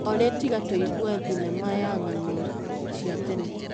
Olĩ tiga tũigue thinema ya ng'ano cia tene.